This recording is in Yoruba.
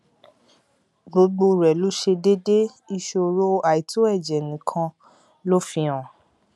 gbogbo rẹ ló ṣe déédé ìṣòro àìtó ẹjẹ nìkan ló fihàn